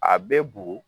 A bɛ bugu